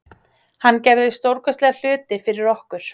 Hann gerði stórkostlega hluti fyrir okkur.